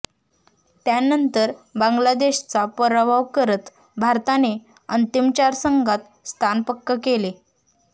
त्यानंतर बांगलादेशचा पराभव करत भारताने अंतिम चार संघात स्थान पक्क केले